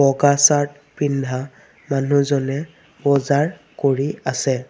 বগা চাৰ্ট পিন্ধা মানুহজনে বজাৰ কৰি আছে।